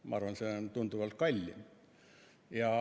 Ma arvan, et see on tunduvalt kallim.